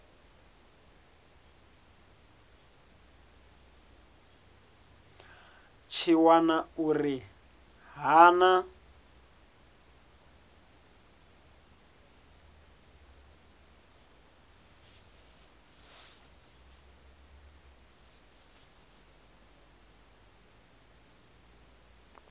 tshi wana uri ha na